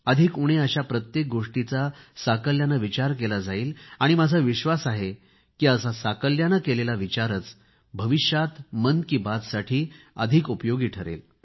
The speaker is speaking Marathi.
अधिक उणे अशा प्रत्येक गोष्टीचा साकल्याने विचार करतील आणि माझा विश्वास आहे की असा साकल्याने केलेला विचारच भविष्यात मन की बात साठी अधिक उपयोगी ठरेल